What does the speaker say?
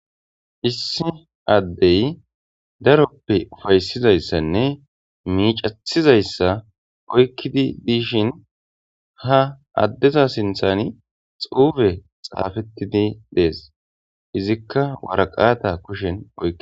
Issi adey darope ufaysizaysanne mic'etizayasa oykidi dishin ha adeza sintan xufey xafetidi des izika waraqata kushen oyqis.